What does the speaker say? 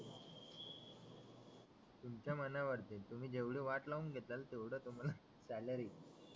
तुमच्या मनावरती तुम्ही जेवढे वाट लावून घेतल तेवढं तुम्हाला सॅलरी